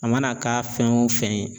A mana k'a fɛn o fɛn ye.